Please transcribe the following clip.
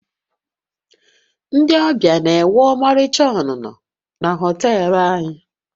Ndị ọbịa na-enwe ọmarịcha ọnụnọ na họtel anyị